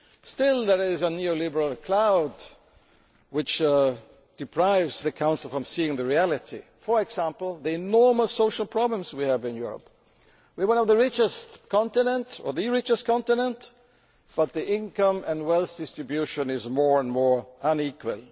Still there is a neo liberal cloud which is preventing the Council from seeing the reality for example, the enormous social problems we have in Europe. We are one the richest continents or the richest continent but the income and wealth distribution are growing more and more unequal.